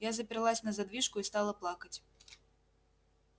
я заперлась на задвижку и стала плакать